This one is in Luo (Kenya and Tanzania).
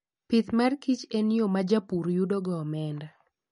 Pith mar kich en yo ma japur yudo go omenda.